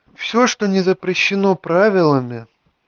все что не запрещено правилами